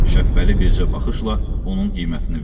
Şəbpəli bircə baxışla onun qiymətini verdi.